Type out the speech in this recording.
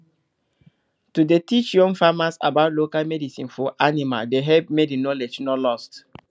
to dey teach young farmers about local medicine for animal dey help make the knowledge no lost